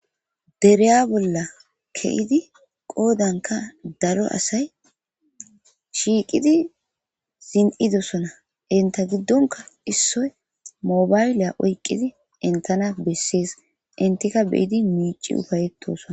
dereya bolla ke7idi qoodanka daro asay shiiqidi zin7idosona inta giddonka issoy mobayliya oyqqidi intana bessees intika beyidi miici ufayetosona